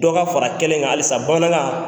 Dɔ ka fara kɛlen kan halisa bamanankan